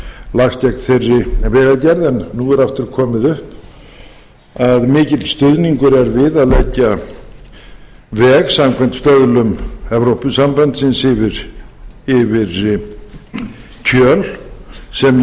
lagst gegn þeirri vegagerð en nú er aftur komið upp að mikill stuðningur er við að leggja veg samkvæmt stöðlum evrópusambandsins yfir kjöl sem ég tel